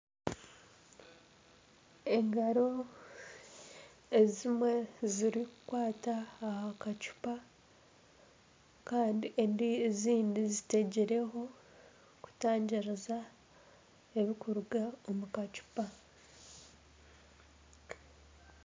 Engaro ezimwe zirikukwata aha kacupa Kandi ezindi zitegireho kutangiriza ebirikuruga omu kacupa